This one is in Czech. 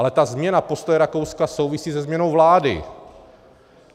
Ale ta změna postoje Rakouska souvisí se změnou vlády.